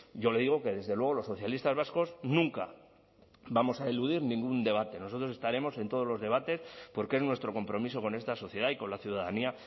yo le digo que desde luego los socialistas vascos nunca vamos a eludir ningún debate nosotros estaremos en todos los debates porque es nuestro compromiso con esta sociedad y con la ciudadanía